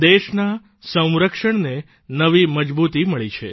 દેશના સ્વરક્ષણને નવી મજબૂતી મળી છે